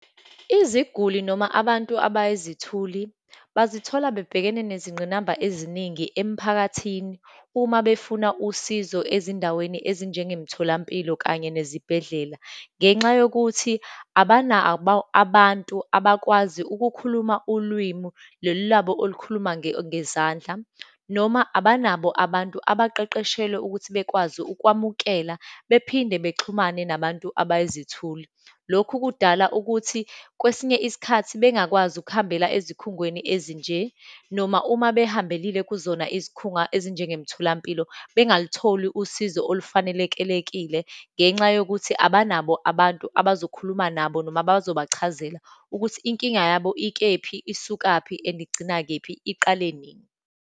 Iziguli noma abantu abayizithuli bazithola bebhekene nezingqinamba eziningi emphakathini, uma befuna usizo ezindaweni ezinjengemtholampilo, kanye nezibhedlela. Ngenxa yokuthi abanabo abantu abakwazi ukukhuluma ulwimi lolu labo olukhuluma ngezandla, noma abanabo abantu abaqeqeshelwe ukuthi bekwazi ukwamukela, bephinde bexhumane nabantu abayizithuli. Lokhu kudala ukuthi kwesinye isikhathi bengakwazi ukuhambela ezikhungweni ezinje, noma uma behambelile kuzona izikhunga ezinjengemtholampilo, bengalutholi usizo olufanelekelekile ngenxa yokuthi abanabo abantu abazokhuluma nabo, noma bazobachazela ukuthi, inkinga yabo ikephi, isukaphi and igcina kephi, iqale nini.